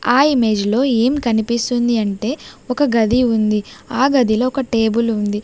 ఆ ఇమేజ్ లో ఏం కనిపిస్తుంది అంటే ఒక గది ఉంది ఆ గదిలో ఒక టేబుల్ ఉంది.